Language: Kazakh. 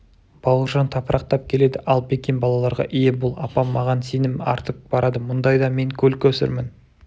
бауыржан тапырақтап келеді ал бекен балаларға ие бол апам маған сенім артып барады мұндайда мен көл-көсірмін